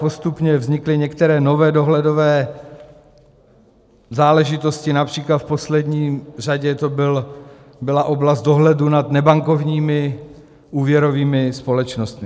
Postupně vznikly některé nové dohledové záležitosti, například v poslední řadě to byla oblast dohledu nad nebankovními úvěrovými společnostmi.